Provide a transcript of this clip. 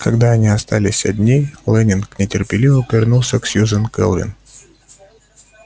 когда они остались одни лэннинг нетерпеливо повернулся к сьюзен кэлвин